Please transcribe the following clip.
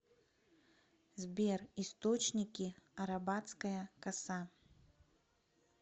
сбер источники арабатская коса